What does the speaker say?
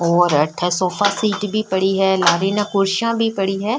और अठे sofa seat भी पड़ी है लारे ने कुर्सियां भी पड़ी है।